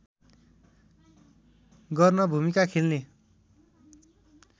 गर्न भूमिका खेल्ने